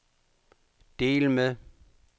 del med